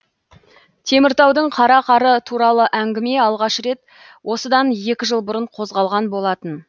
теміртаудың қара қары туралы әңгіме алғаш рет осыдан екі жыл бұрын қозғалған болатын